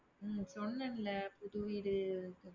உம் சொன்னேன்ல. புது வீடு